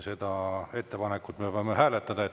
Seda ettepanekut me peame hääletama.